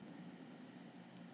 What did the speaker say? Melkólmur, hækkaðu í græjunum.